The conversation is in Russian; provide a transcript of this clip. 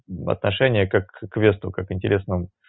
отношение как к квесту как к интересному